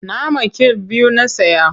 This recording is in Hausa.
Nama kill biyu na saya.